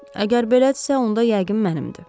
Əgər belədirsə, onda yəqin mənimdir.